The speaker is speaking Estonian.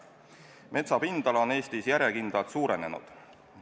Metsa pindala on Eestis järjekindlalt suurenenud.